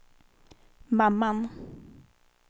mamman